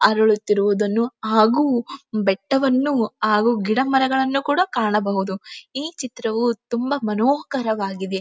ಅರಳುತ್ತಿರುವುದನ್ನು ಹಾಗು ಬೆಟ್ಟವನ್ನು ಹಾಗು ಗಿಡಮರಗಳನ್ನು ಕೂಡ ಕಾಣಬಹುದು ಈ ಚಿತ್ರವು ತುಂಬಾ ಮನೋಕರವಾಗಿದೆ.